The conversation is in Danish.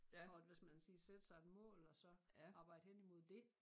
For at hvis man sige sætte sig et mål og så arbejde hen imod det